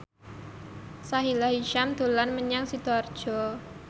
Sahila Hisyam dolan menyang Sidoarjo